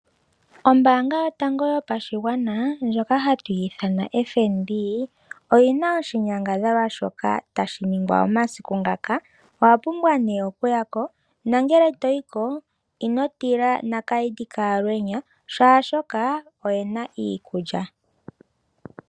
Ombaanga yotango yopashigwana ndjoka hatu ithana FNB oyina oshinyangadhalwa shoka tashi ningwa omasiku ngaka ,owapumbwa nee okuya ko nongele toyiko inotila nakayidhi ka alwenya oshoka oyena iikulya